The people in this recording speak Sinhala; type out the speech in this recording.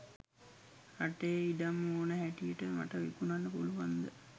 රටේ ඉඩම් ඕන හැටියට මට විකුණන්න පුළුවන්ද?